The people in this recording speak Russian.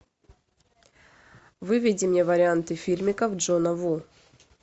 выведи мне варианты фильмиков джона ву